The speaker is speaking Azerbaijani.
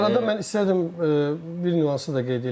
Bu arada mən istəyərdim bir nüansı da qeyd eləyim.